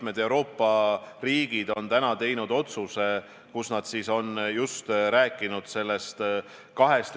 Nii et vastus teile on: ma kindlasti toetan seda, et kui neid juhtumeid tuleb rohkem, siis on täiesti mõistlik ja proportsionaalne kaaluda ka kõikide haridusasutuste sulgemist.